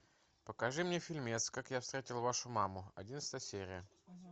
покажи мне фильмец как я встретил вашу маму одиннадцатая серия